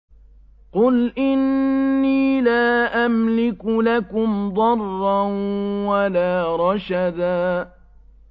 قُلْ إِنِّي لَا أَمْلِكُ لَكُمْ ضَرًّا وَلَا رَشَدًا